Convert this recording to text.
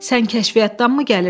Sən kəşfiyyatdanmı gəlirsən?